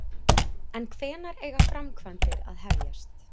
En hvenær eiga framkvæmdir að hefjast?